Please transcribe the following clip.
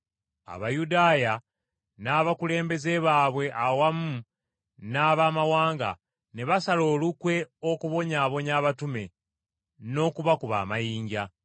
Abayudaaya n’abakulembeze baabwe awamu n’Abamawanga, ne basala olukwe okubonyaabonya abatume, n’okubakuba amayinja.